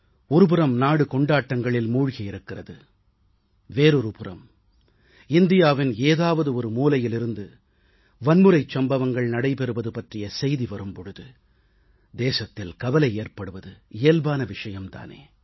ஒருபுறம் நாடு கொண்டாட்டங்களில் மூழ்கியிருக்கிறது இன்னொருபுறம் இந்தியாவின் ஏதாவது ஒரு மூலையிலிருந்து வன்முறைச் சம்பவங்கள் நடைபெறுவது பற்றிய செய்தி வரும் பொழுது தேசத்தில் கவலை ஏற்படுவது இயல்பான விஷயம் தானே